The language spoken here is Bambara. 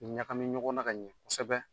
Ɲagami ɲɔgɔn na ka ɲɛn kosɛbɛ.